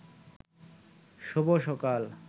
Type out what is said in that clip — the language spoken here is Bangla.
শুভ সকাল